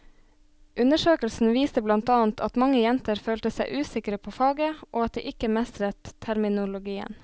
Undersøkelsen viste blant annet at mange jenter følte seg usikre på faget og at de ikke mestret terminologien.